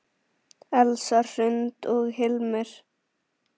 Elsa Hrund og Hilmir.